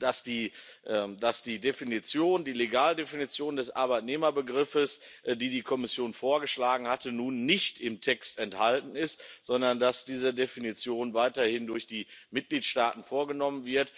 dass die Legaldefinition des Arbeitnehmerbegriffes, die die Kommission vorgeschlagen hatte, nun nicht im Text enthalten ist, sondern dass diese Definition weiterhin durch die Mitgliedstaaten vorgenommen wird.